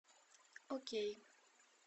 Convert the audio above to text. окей